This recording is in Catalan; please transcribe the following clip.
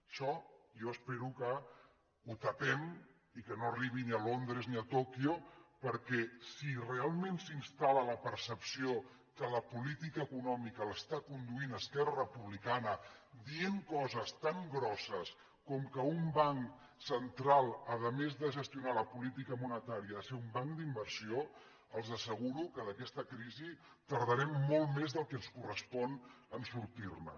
això jo espero que ho tapem i que no arribi ni a londres ni a tòquio perquè si realment s’instal·la la percepció que la política econòmica la condueix esquerra republicana dient coses tan grosses com que un banc central a més de gestionar la política monetària ha de ser un banc d’inversió els asseguro que d’aquesta crisi tardarem molt més del que ens correspon a sortir ne